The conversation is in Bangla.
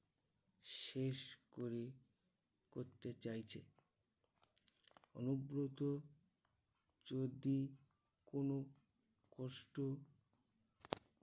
শেষ করে করতে চাইছে। অনুব্রত যদি কোনো কষ্ট